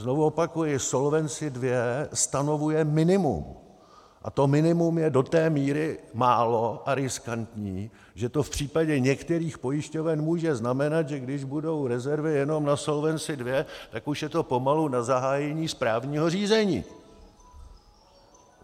Znovu opakuji, Solvency II stanovuje minimum a to minimum je do té míry málo a riskantní, že to v případě některých pojišťoven může znamenat, že když budou rezervy jenom na Solvency II, tak už je to pomalu na zahájení správního řízení.